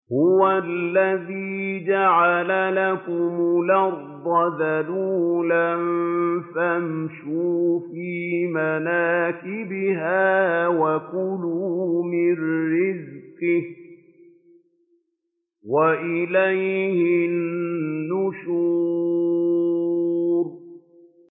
هُوَ الَّذِي جَعَلَ لَكُمُ الْأَرْضَ ذَلُولًا فَامْشُوا فِي مَنَاكِبِهَا وَكُلُوا مِن رِّزْقِهِ ۖ وَإِلَيْهِ النُّشُورُ